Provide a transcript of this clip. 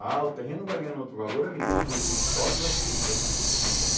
Ah, o terreno vai ganhando outro valor à medida que o vizinho pobre vai se mudando para longe, né?